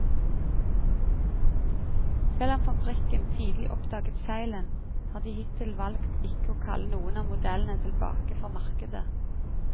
Selv om fabrikken tidlig oppdaget feilen, har de hittil valgt ikke å kalle noen av modellene tilbake fra markedet.